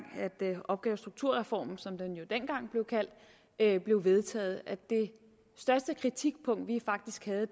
opgave og strukturreformen som den jo dengang blev kaldt blev vedtaget det største kritikpunkt vi faktisk havde